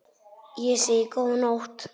Ég segi: Góða nótt!